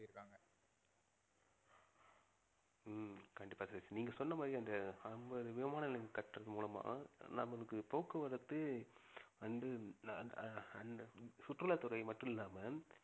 ஹம் கண்டிப்பா சதீஷ் நீங்க சொன்ன மாதிரி அந்த அம்பது விமான நிலையங்கள் கட்டறது மூலமா நம்மளுக்கு போக்குவரத்து வந்து ஆஹ் சுற்றுலாத்துறை மட்டுமில்லாம